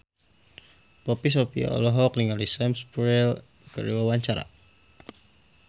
Poppy Sovia olohok ningali Sam Spruell keur diwawancara